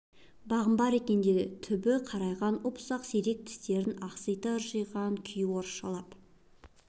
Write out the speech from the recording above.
бағың бар екен деді түбі қарайған ұп-ұсақ сирек тістерін ақсита ыржиған күйі орысшалап